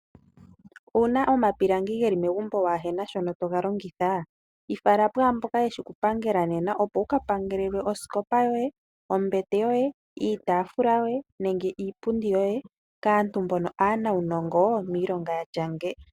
Owuna omapilangi geli megumbo waa hena sho toga longitha, yifala pwaamboka yeshi okupangela nena opo wuka pangelwe osikopa yoye, ombete yoye, iitafula yoye nenge iipundi yoye kaantu mbo aanawunongo, miilonga yatya nge.